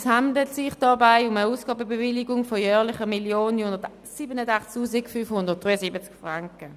Es handelt sich dabei um eine Ausgabenbewilligung von jährlich 1 987 573 Franken.